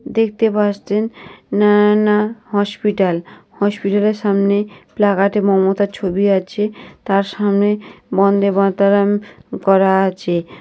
দেখতে পাচ্ছেন না না হসপিটাল। হসপিটালের সামনে প্লাগাতে মমতার ছবি আছে। তার সামনে বন্দেমাতরম করা আছে।